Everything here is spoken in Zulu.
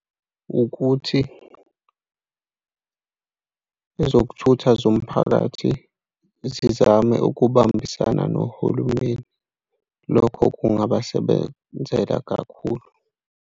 Ukuthi ezokuthutha zomphakathi zizame ukubambisana nohulumeni. Lokho kungabasebenzela kakhulu.